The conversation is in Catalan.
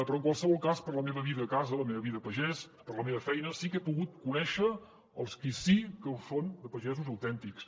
però en qualsevol cas per la meva vida a casa la meva vida a pagès per la meva feina sí que he pogut conèixer els qui sí que ho són de pagesos autèntics